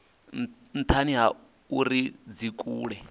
nthani ha uri dzi kule